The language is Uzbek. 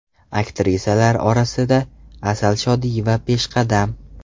Aktrisalar orasida Asal Shodiyeva peshqadam.